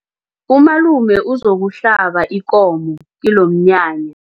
Umalume uzokuhlaba ikomo kilomnyanya.